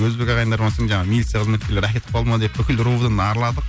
өзбек ағайындар болған соң жаңағы милиция кызметкерлері әкетіп кетіп қалды ма деп бүкіл ровд ны араладық